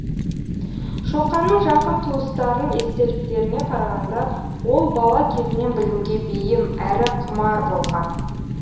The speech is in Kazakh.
шоқанның жақын туыстарының естеліктеріне қарағанда ол бала кезінен білімге бейім әрі құмар болған